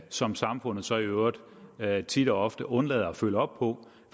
som samfundet så i øvrigt tit og ofte undlader at følge op på